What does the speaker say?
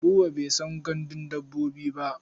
Buba bai san gandun dabbobi ba.